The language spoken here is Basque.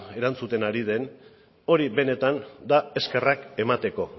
erantzuten ari den hori benetan da eskerrak emateko